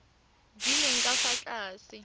di leng ka fa tlase